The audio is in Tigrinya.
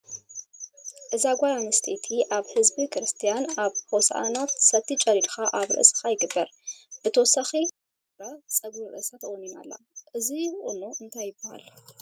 እዛ ጋል አነሰተይቲ አብ ህዝቢ ክርሰትያን አብ ሆሳእና ሰቲ ጨዲድካ አብ ርእሰካ ይግበር ።ብተወሳኪ አብ እዝና ብሩር ገይራ ፀጉር ርእሳ ተቆኒና አላ ። እዚ ቁኖ እንታይ ይሃል?